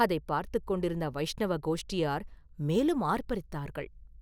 அதைப் பார்த்துக் கொண்டிருந்த வைஷ்ணவ கோஷ்டியார் மேலும் ஆர்ப்பரித்தார்கள்.